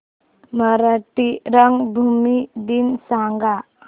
मराठी रंगभूमी दिन सांगा